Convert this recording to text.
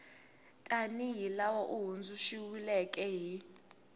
tanihi laha wu hundzuluxiweke hi